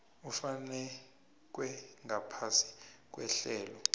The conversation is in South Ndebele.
ufakwe ngaphasi kwehlelo